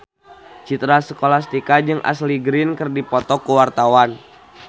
Citra Scholastika jeung Ashley Greene keur dipoto ku wartawan